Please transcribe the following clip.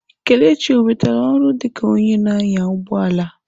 Kelechi onwetala ọrụ dịka onye na-anya ụgbọ ala?